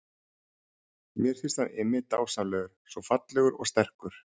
Mér finnst hann Immi dásamlegur, svo fallegur og sterkur.